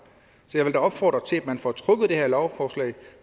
så jeg vil da opfordre til at man får trukket det her lovforslag og